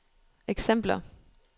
eksempler